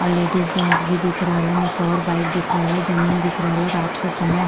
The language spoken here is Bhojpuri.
अ लेडीज जैंट्स भी दिख रहल ह। एक और बाइक दिख रहल ह। जमीन दिख रहल ह। रात क समय --